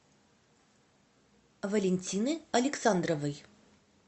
валентины александровой